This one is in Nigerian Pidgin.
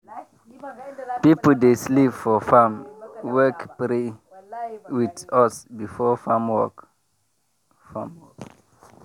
people dey sleep for farm wake pray with us before farm work. farm work.